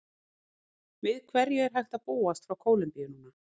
Við hverju er hægt að búast frá Kólumbíu núna?